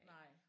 Nej